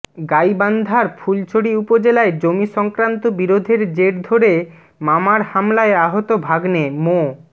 গাইবান্ধার ফুলছড়ি উপজেলায় জমিসংক্রান্ত বিরোধের জের ধরে মামার হামলায় আহত ভাগ্নে মো